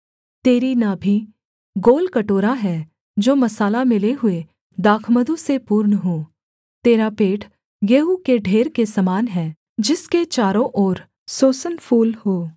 तेरी नाभि गोल कटोरा है जो मसाला मिले हुए दाखमधु से पूर्ण हो तेरा पेट गेहूँ के ढेर के समान है जिसके चारों ओर सोसन फूल हों